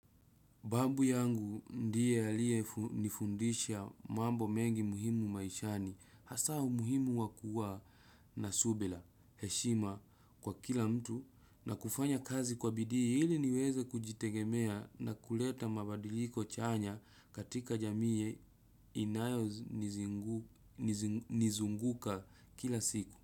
Babu yangu ndiye alie nifundisha mambo mengi muhimu maishani, hasa umuhimu wa kua na subila, heshima kwa kila mtu na kufanya kazi kwa bidii ili niweze kujitegemea na kuleta mabadiliko chanya katika jamiye inayo nizunguka kila siku.